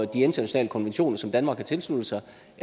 de internationale konventioner som danmark har tilsluttet sig